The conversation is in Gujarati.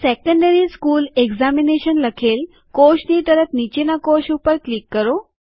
સેકન્ડરી સ્કુલ એકઝામિનેશન લખેલ કોષની તરત નીચેના કોષ ઉપર ક્લિક કરો